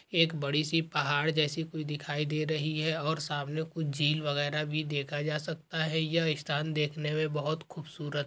एक बड़ी सी पहाड़ जैसी कुछ दिखाई दे रही है और सामने कुछ झील वगैरा भी देखा जा सकता है ये स्थान देखने मे बहुत खूबसूरत --